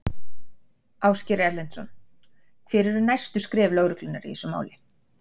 Ásgeir Erlendsson: Hver eru næstu skref lögreglunnar í þessu máli?